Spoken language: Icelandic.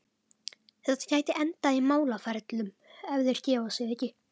Þetta gæti endað í málaferlum, ef þeir gefa sig ekki.